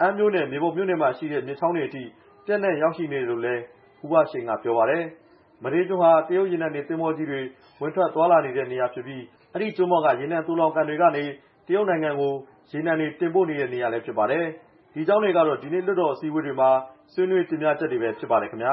အမ်းမြို့နဲ့ မြေပုံမြို့နယ်မှာရှိတဲ့ မြစ်ချောင်းတွေအထိ ပျံ့နှံ့ရောက်ရှိနေတယ်လို့လည်း ဦးဘရှိန်က ပြောပါတယ်။ မဒေးကျွန်းဟာ တရုတ်ရေနံတင် သင်္ဘောကြီးတွေ ဝင်ထွက်သွားလာတဲ့နေရာဖြစ်ပြီး အဲဒီကျွန်းပေါ်က ရေနံသိုလှောင်ကန်တွေကနေ တရုတ်နိုင်ငံကို ရေနံတွေတင်ပို့တဲ့နေရာလည်းဖြစ်ပါတယ်။ ဒီအကြောင်းတွေကတော့ ဒီနေ့ လွှတ်တော်အစည်းအဝေးတွေမှာ ဆွေးနွေးတင်ပြချက်တွေပဲ ဖြစ်ပါတယ်ခင်ဗျာ